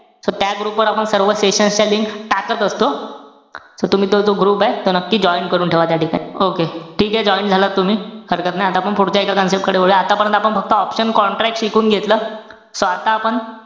So त्या group वर आपण सर्व sessions च्या link टाकत असतो. So तुम्ही तो जो group ए, तो नक्की join करून ठेवा त्या ठिकाणी. Okay. ठीके. Join झालात तुम्ही. हरकत नाई, आता आपण पुढच्या एका concept कडे वळूया. आतापर्यंत आपण फक्त option contract शिकून घेतलं. So आता आपण,